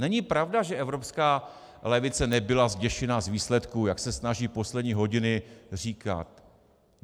Není pravda, že evropská levice nebyla zděšena z výsledků, jak se snaží poslední hodiny říkat.